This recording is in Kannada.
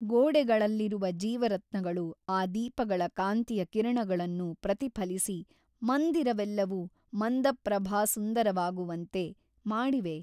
ಗೋಡೆಗಳಲ್ಲಿರುವ ಜೀವರತ್ನಗಳು ಆ ದೀಪಗಳ ಕಾಂತಿಯ ಕಿರಣಗಳನ್ನು ಪ್ರತಿಫಲಿಸಿ ಮಂದಿರವೆಲ್ಲವೂ ಮಂದಪ್ರಭಾಸುಂದರವಾಗುವಂತೆ ಮಾಡಿವೆ.